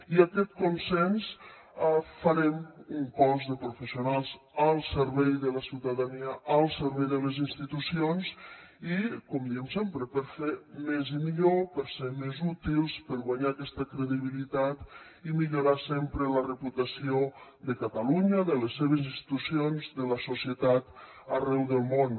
i amb aquest consens farem un cos de professionals al servei de la ciutadania al servei de les institucions i com diem sempre per fer més i millor per ser més útils per guanyar aquesta credibilitat i millorar sempre la reputació de catalunya de les seves institucions de la societat arreu del món